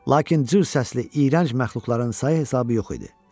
Lakin cığ səsi iyrənc məxluqların sayı hesabı yox idi.